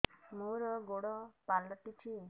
ମୋର ଗୋଡ଼ ପାଲଟିଛି